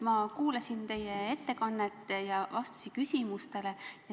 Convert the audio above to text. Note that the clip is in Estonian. Ma kuulasin teie ettekannet ja vastuseid küsimustele.